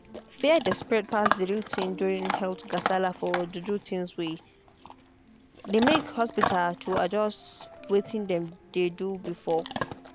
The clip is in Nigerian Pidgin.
fear dey spread pass the real thing during health gasala for juju thingsway they make hospita to adjust wetin them dey do before.